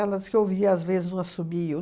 dizia que às vezes um assobio